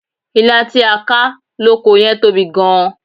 Ilá tí a ká lóko yẹn tóbi gan-an.